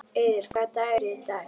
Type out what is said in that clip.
Auður, hvaða dagur er í dag?